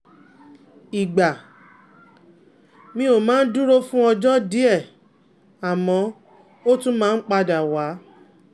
ìgbà míì ó máa ń dúró fún ọjọ́ díẹ̀, àmọ́ ó tún máa ń padà wá